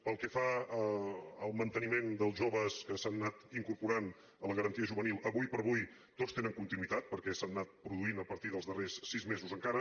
pel que fa al manteniment dels joves que s’han anat incorporant a la garantia juvenil ara com ara tots tenen continuïtat perquè s’han anat produint a partir dels darrers sis mesos encara